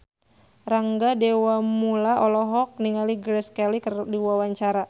Rangga Dewamoela olohok ningali Grace Kelly keur diwawancara